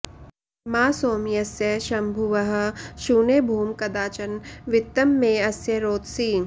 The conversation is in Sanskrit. मा सो॒म्यस्य॑ श॒म्भुवः॒ शूने॑ भूम॒ कदा॑ च॒न वि॒त्तं मे॑ अ॒स्य रो॑दसी